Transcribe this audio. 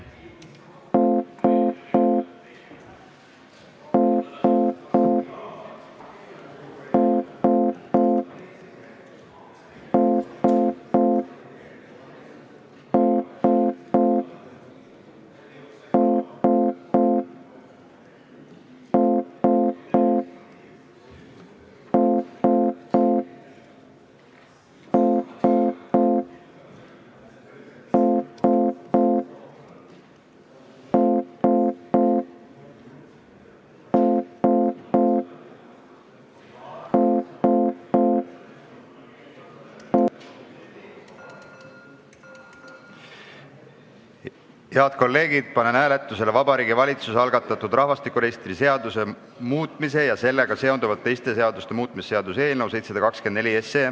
Head kolleegid, panen hääletusele Vabariigi Valitsuse algatatud rahvastikuregistri seaduse muutmise ja sellega seonduvalt teiste seaduste muutmise seaduse eelnõu.